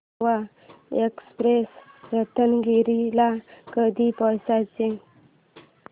Goa express Ratnagiri ला कधी पोहचते